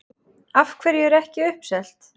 Af hverju er ekki uppselt?